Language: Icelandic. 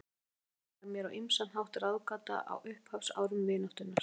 Þórður Yngvi var mér á ýmsan hátt ráðgáta á upphafsárum vináttunnar.